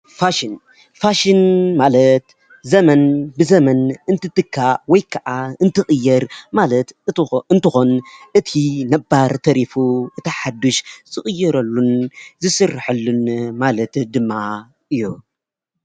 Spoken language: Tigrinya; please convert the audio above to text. ፋሽን ፋሽን ማለት ዘመን ብዘመን እንትትካእ ወይ ከዓ እንትቕየር ማለት እንትኮን እቲ ነባር ተሪፉ እቲ ሓዱሽ ዝቕየረሉን ዝስረሐሉን ማለት ድማ እዩ።